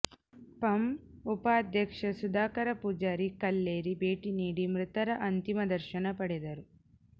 ಪಂ ಉಪಾಧ್ಯಕ್ಷ ಸುಧಾಕರ ಪೂಜಾರಿ ಕಲ್ಲೇರಿ ಭೇಟಿ ನೀಡಿ ಮೃತರ ಅಂತಿಮ ದರ್ಶನ ಪಡೆದರು